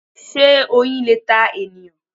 Sé Oyin le ta ènìyàn